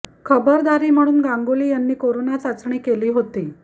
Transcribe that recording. खबरदारी म्हणून गांगुली यांनी करोना चाचणी केली होती